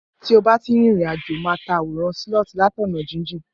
ti o ba ti n rìrìn àjò, ma ta àwòràn sloth lat ọna jijìn